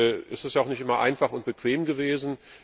Es ist ja auch nicht immer einfach und bequem gewesen.